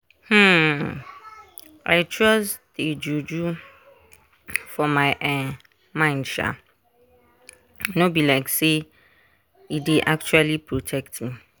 um i trust dey juju for my um mind sha no be like say e dey actually protect me.